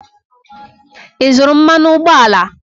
Ị zụrụ mmanụ ụgbọala?